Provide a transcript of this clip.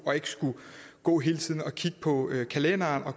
og ikke skulle gå hele tiden og kigge på kalenderen og